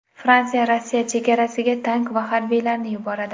Fransiya Rossiya chegarasiga tank va harbiylarni yuboradi.